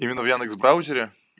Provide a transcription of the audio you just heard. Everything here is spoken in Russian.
именно в яндекс браузере